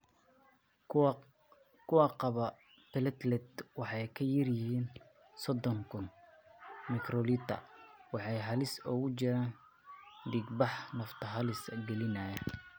Kuwa qaba platelet waxay ka yar yihiin sodon kun /microliter waxay halis ugu jiraan dhiigbax nafta halis gelinaya.